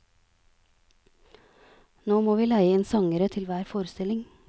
Nå må vi leie inn sangere til hver forestilling.